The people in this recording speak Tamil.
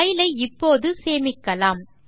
பைல் ஐ இப்போது சேமிக்கலாம்